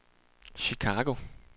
Chicago